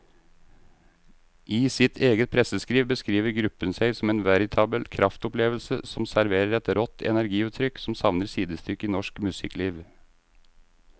I sitt eget presseskriv beskriver gruppen seg som en veritabel kraftopplevelse som serverer et rått energiutrykk som savner sidestykke i norsk musikkliv.